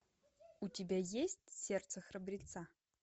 у тебя есть сердце храбреца